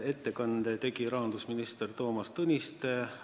Ettekande tegi rahandusminister Toomas Tõniste.